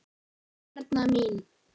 Erna mín.